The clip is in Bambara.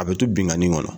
A bɛ to binnkanni kɔnɔ